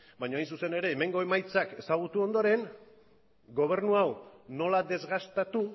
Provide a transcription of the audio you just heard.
baino hain zuzen ere hemengo emaitzak ezagutu ondoren gobernu hau nola desgastatu